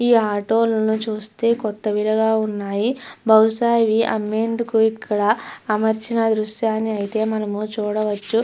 ఈ ఆటో లను చూస్తే కొత్తవిగా ఉన్నాయి. బహుశా ఇవి అమ్మేందుకు ఇక్కడ అమర్చిన దృశ్యాన్ని అయితే మనము చూడవచ్చు.